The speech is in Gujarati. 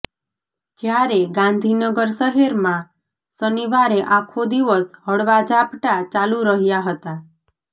જ્યારે ગાંધીનગર શહેરમાં શનિવારે આખો દિવસ હળવા ઝાપટા ચાલુ રહ્યાં હતાં